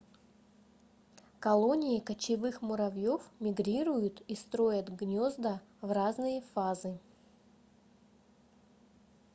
колонии кочевых муравьёв мигрируют и строят гнёзда в разные фазы